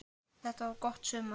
Þetta var gott sumar.